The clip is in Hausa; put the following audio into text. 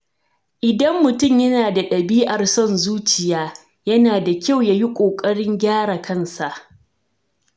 Idan mutum yana da ɗabi’ar son zuciya, yana da kyau ya yi ƙoƙarin gyara kansa.